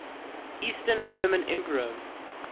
eastern roman emperor